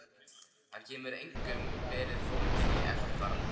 Hann getur einkum verið fólginn í eftirfarandi